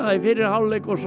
í fyrri hálfleik og svo